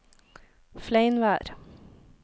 Fleinvær